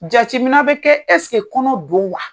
Jateminɛ bɛ kɛ ɛseke kɔnɔ don wa?